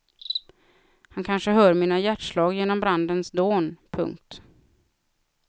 Han kanske hör mina hjärtslag genom brandens dån. punkt